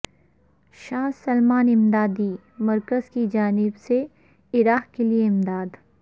شاہ سلمان امدادی مرکز کی جانب سے عراق کے لیے امداد